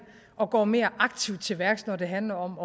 og går mere aktivt til værks når det handler om